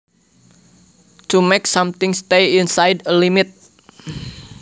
To make something stay inside a limit